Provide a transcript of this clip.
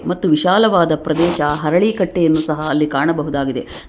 ಮತ್ತು ವಿಶಾಲವಾದ ಪ್ರದೇಶ ಹರಳಿ ಕಟ್ಟೆಯನ್ನು ಸಹ ಅಲ್ಲಿ ಕಾಣಬಹುದಾಗಿದೆ.